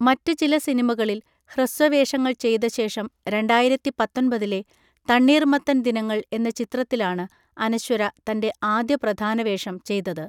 മറ്റ് ചില സിനിമകളിൽ ഹ്രസ്വ വേഷങ്ങൾ ചെയ്ത ശേഷം, രണ്ടായിരത്തി പത്തൊൻപതിലെ 'തണ്ണീർ മത്തൻ ദിനങ്ങൾ' എന്ന ചിത്രത്തിലാണ് അനശ്വര തൻ്റെ ആദ്യ പ്രധാന വേഷം ചെയ്തത്.